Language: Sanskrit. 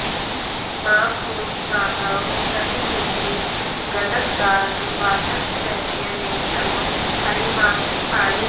मां मुञ्च माधव सतीमिति गद्गदार्ध वाचस्तवैत्य निकटं हरिमाक्षिपानि